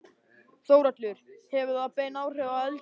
Þórhallur: Hefur það bein áhrif á eldið?